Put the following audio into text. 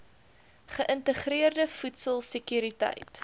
geïntegreerde voedsel sekuriteit